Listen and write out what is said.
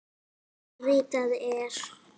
Ritað er